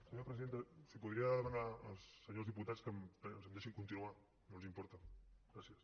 senyora presidenta si podria demanar als senyors diputats que em deixin continuar si no els importa gràcies